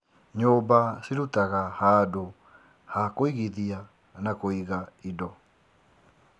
Nyũmba cirutaga handũ ha kũigithia na kũinga indo.